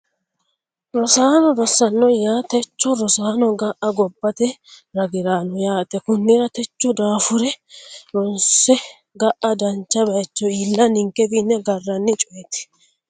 Rosaano rosaano yaa techo rosaano ga'a gobbate ragiraano yaate konnira techo daafure ronse ga'a dancha baayicho iilla ninkewiinni agaranni cooyeti